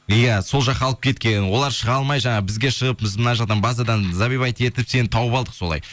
иә сол жаққа алып кеткен олар шыға алмай жаңағы бізге шығып біз мына жақтан базадан забивать етіп сені тауып алдық солай